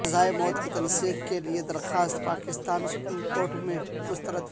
سزائے موت کی تنسیخ کے لئے درخواست پاکستان سپریم کورٹ میں مسترد